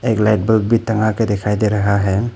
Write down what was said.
एक light bulb भी टंगा के दिखाई दे रहा हैं।